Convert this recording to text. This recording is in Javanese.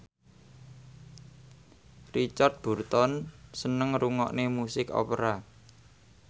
Richard Burton seneng ngrungokne musik opera